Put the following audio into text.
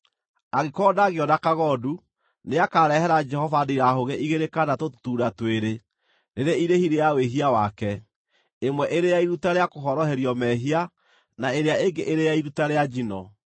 “ ‘Angĩkorwo ndangĩona kagondu, nĩakarehera Jehova ndirahũgĩ igĩrĩ kana tũtutuura twĩrĩ, rĩrĩ irĩhi rĩa wĩhia wake, ĩmwe ĩrĩ ya iruta rĩa kũhoroherio mehia na ĩrĩa ĩngĩ ĩrĩ ya iruta rĩa njino.